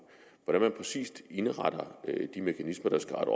hvordan man præcis indretter de mekanismer der skal rette